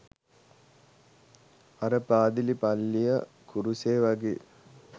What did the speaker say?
අර "පාදිලි" "පල්ලිය" "කුරුසය" වගේ?